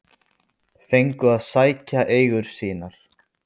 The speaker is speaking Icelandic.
Fengu að sækja eigur sínar